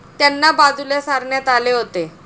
त्यांना बाजूला सारण्यात आले होते.